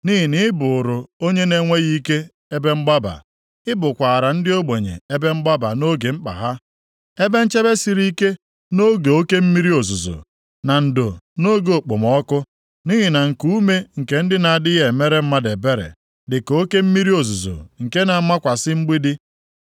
Nʼihi na ị bụụrụ onye na-enweghị ike ebe mgbaba; ị bụkwaara ndị ogbenye ebe mgbaba nʼoge mkpa ha, ebe nchebe siri ike nʼoge oke mmiri ozuzo, na ndo nʼoge okpomọkụ. Nʼihi na nkuume nke ndị na-adịghị emere mmadụ ebere dị ka oke mmiri ozuzo nke na-amakwasị mgbidi,